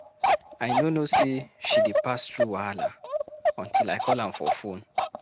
I no know sey she dey pass through wahala until I call am for fone.